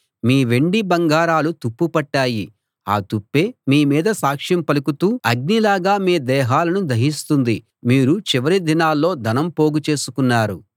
మీ వెండి బంగారాలు తుప్పుపట్టాయి ఆ తుప్పే మీమీద సాక్ష్యం పలుకుతూ అగ్నిలాగా మీ దేహాలను దహిస్తుంది మీరు చివరిదినాల్లో ధనం పోగు చేసుకున్నారు